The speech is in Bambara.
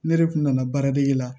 Ne yɛrɛ kun nana baaradege la